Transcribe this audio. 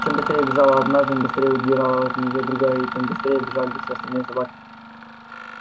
чем быстрее бежала одна тем быстрее удирала от нее другая и тем быстрее бежали все остальные собаки